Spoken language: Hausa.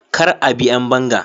kar a bi ƴan banga